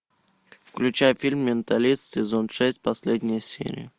включай фильм менталист сезон шесть последняя серия